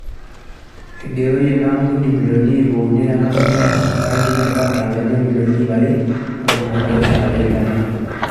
Eigeroyie ina ampuni milioni ip uni te nkampuni o rangi e crown e Tanzania o milioni ipp are o ntomoni oo pishana te Uganda.